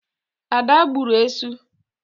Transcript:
Ada gburu esu.